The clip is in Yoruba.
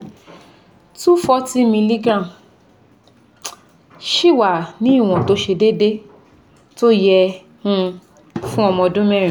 two hundred forty miligram sì wà ní ìwọ̀n tó ṣe déédé tó yẹ fún ọmọ ọdún mẹ́rin